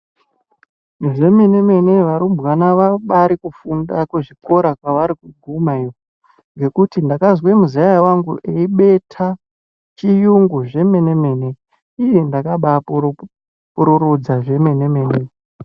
Zvemene mene varumbwana vabari kufunda kuzvikora kwavari kuguma iyo ngekuti ndakanzwa muzaya wangu eibeta chiyungu zvemene mene, iiii ndakambapururudza zvemene mene.